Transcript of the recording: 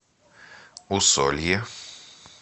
усолье